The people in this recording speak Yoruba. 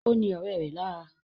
Ó ní ọ̀rẹ́ rẹ̀ lára